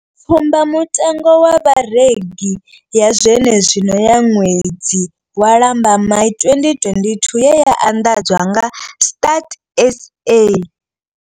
Tsumbamutengo wa Vharengi ya zwenezwino ya ṅwedzi wa Lambamai 2022 ye ya anḓadzwa nga Stats SA.